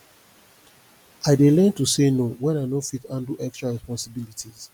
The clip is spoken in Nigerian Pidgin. i dey learn to say no when i no fit handle extra responsibilities